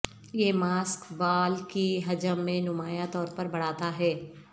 یہ ماسک بال کی حجم میں نمایاں طور پر بڑھاتا ہے